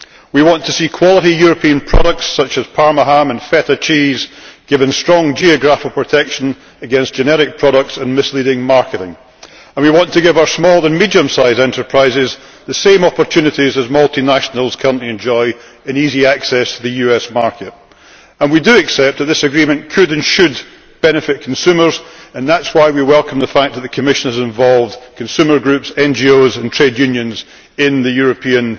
We want to see quality European products such as Parma ham and Feta cheese given strong geographic protection against genetic products and misleading marketing, and we want to give our small and medium sized enterprises the same opportunities as multinationals currently enjoy in easy access to the US market. We do accept that this agreement could and should benefit consumers, and that is why we welcome the fact that the Commission has involved consumer groups, NGOs and trade unions in the European